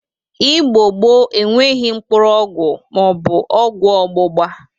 Igbo gboo enweghi mkpụrụ ọgwọ ma ọ bụ ọgwọ ọgbụgba.